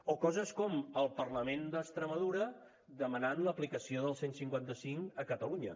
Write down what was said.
o coses com el parlament d’extremadura demanant l’aplicació del cent i cinquanta cinc a catalunya